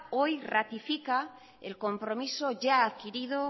hoy ratifica el compromiso ya adquirido